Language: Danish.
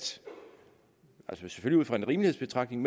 ud fra en rimelighedsbetragtning